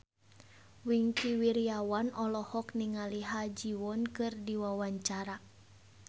Wingky Wiryawan olohok ningali Ha Ji Won keur diwawancara